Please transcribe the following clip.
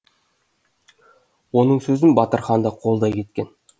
оның сөзін батырхан да қолдай кеткен